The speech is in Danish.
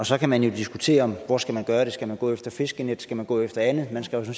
så kan man jo diskutere hvor man skal gøre det skal man gå efter fiskenet skal man gå efter andet man skal jo